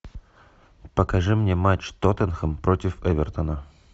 покажи мне матч тоттенхэм против эвертона